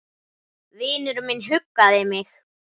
Vinur minn huggaði mig.